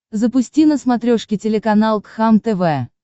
запусти на смотрешке телеканал кхлм тв